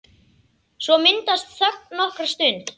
Svo myndast þögn nokkra stund.